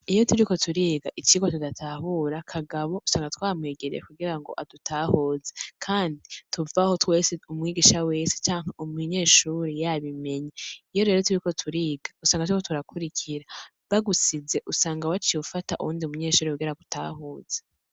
Iyo turiko turiga icirwa tudatahura ,Kagabo usanga twamwegereye kugira ngo adutahuze, Kandi tuvahobtwese umwigisha wese canke umunyeshure wese yabimenye iyo rero turiko turiha usanga turiko turakurikira, bagusize usanga waciye ufata uwundi munyeshure kugira agutahuze.